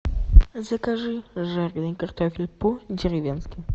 закажи жареный картофель по деревенски